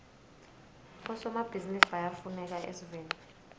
bosomabhizinisi bayafuneka esiveni